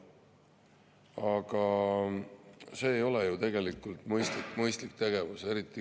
Aga see ei ole ju tegelikult mõistlik tegevus.